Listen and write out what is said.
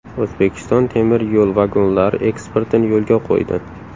O‘zbekiston temir yo‘l vagonlari eksportini yo‘lga qo‘ydi.